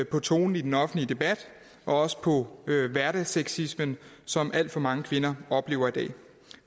på tonen i den offentlige debat og også på hverdagssexismen som alt for mange kvinder oplever i dag